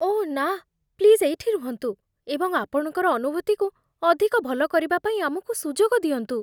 ଓଃ ନା... ପ୍ଲିଜ୍ ଏଇଠି ରୁହନ୍ତୁ ଏବଂ ଆପଣଙ୍କର ଅନୁଭୂତିକୁ ଅଧିକ ଭଲ କରିବା ପାଇଁ ଆମକୁ ସୁଯୋଗ ଦିଅନ୍ତୁ।